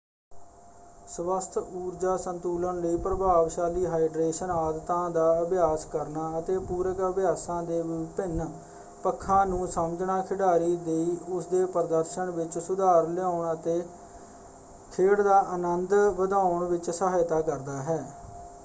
ਸਵਸਥ ਊਰਜਾ ਸੰਤੁਲਨ ਲਈ ਪ੍ਰਭਾਵਸ਼ਾਲੀ ਹਾਈਡ੍ਰੇਸ਼ਨ ਆਦਤਾਂ ਦਾ ਅਭਿਆਸ ਕਰਨਾ ਅਤੇ ਪੂਰਕ ਅਭਿਆਸਾਂ ਦੇ ਵਿਭਿੰਨ ਪੱਖਾਂ ਨੂੰ ਸਮਝਣਾ ਖਿਡਾਰੀ ਦੀ ਉਸਦੇ ਪ੍ਰਦਰਸ਼ਨ ਵਿੱਚ ਸੁਧਾਰ ਲਿਆਉਣ ਅਤੇ ਖੇਡ ਦਾ ਅਨੰਦ ਵਧਾਉਣ ਵਿੱਚ ਸਹਾਇਤਾ ਕਰਦਾ ਹੈ।